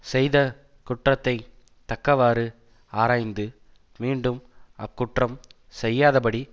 செய்த குற்றத்தை தக்கவாறு ஆராய்ந்து மீண்டும் அக் குற்றம் செய்யாத படி